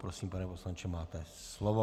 Prosím, pane poslanče, máte slovo.